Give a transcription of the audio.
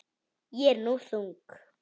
Ég er nú þung.